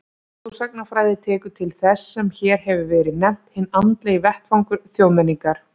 Þjóðsagnafræði tekur til þess sem hér hefur verið nefnt hinn andlegi vettvangur þjóðmenningar.